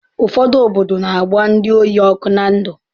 Ụfọdụ obodo na-agba ndị ohi ọkụ na ndụ